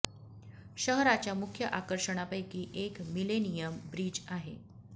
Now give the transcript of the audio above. शहराच्या मुख्य आकर्षणांपैकी एक मिलेनियम ब्रिज आहे